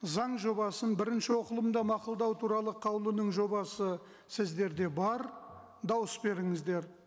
заң жобасын бірінші оқылымда мақұлдау туралы қаулының жобасы сіздерде бар дауыс беріңіздер